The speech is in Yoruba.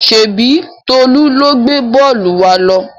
Ṣèbí Tolú ló gbé bọ́ọ́lù wa lọ?